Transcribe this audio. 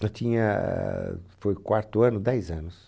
Eu tinha, foi o quarto ano, dez anos.